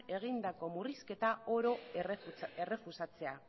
egindako murrizketa oro errefusatzea